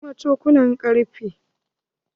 Akwai kuma cokulan ƙarfe.